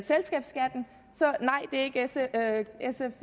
nej det